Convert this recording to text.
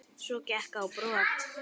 Svo gekk ég á brott.